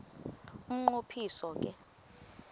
umnqo phiso ke